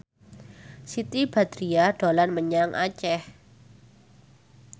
Siti Badriah dolan menyang Aceh